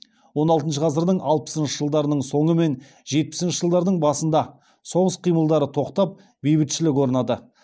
он алтыншы ғасырдың алпсыншы жылдарының соңы мен жетпісінші жылдарының басында соғыс қимылдары тоқтап бейбітшілік орнады